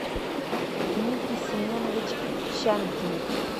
дмитрий семенович щанкин